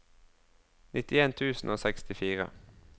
nittien tusen og sekstifire